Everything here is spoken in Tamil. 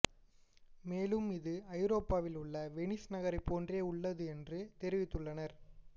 மேலும் இது ஐரோப்பாவில் உள்ள வெனிஸ் நகரை போன்றே உள்ளது என்றும் தெரிவித்துள்ளனர்